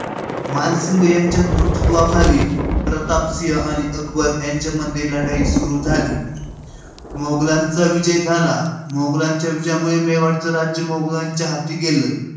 मानसिंग यांच्या नेतृत्वाखाली प्रताप सिंह आणि अकबर यांच्यामध्ये लढाईला सुरुवात झाली. मोगलांचा विजय झाला. मोगलांच्या विजयामुळे मेवाडचा राज्य मोगलांच्या हाती गेलं.